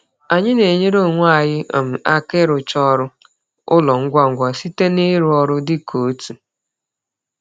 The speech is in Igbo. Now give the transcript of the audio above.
Anyị na-enyere onwe anyị um aka ịrụcha ọrụ ụlọ ngwa ngwa site n'ịrụ ọrụ dị ka otu.